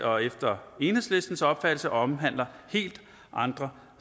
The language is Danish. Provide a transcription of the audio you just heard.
og efter enhedslistens opfattelse omhandler helt andre